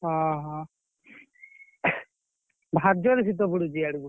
ଓହୋ ଭାରି ଜୋରେ ଶୀତ ପଡୁଛି ଇଆଡକୁ।